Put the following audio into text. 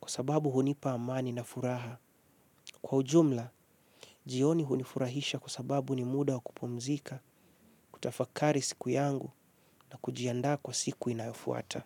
Kwa sababu hunipa amani na furaha. Kwa ujumla, jioni hunifurahisha kwa sababu ni muda kupumzika kutafakari siku yangu na kujianda kwa siku inayofuata.